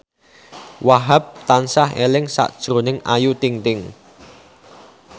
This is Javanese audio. Wahhab tansah eling sakjroning Ayu Ting ting